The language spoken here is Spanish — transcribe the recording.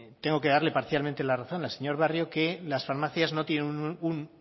tengo que darle parcialmente la razón al señor barrio que las farmacias no tienen un